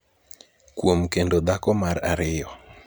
kuom kendo dhako mar ariyo.